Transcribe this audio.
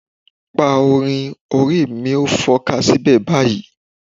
Pa orin "orí mi ó fọ́ká síbẹ̀..." báyìí.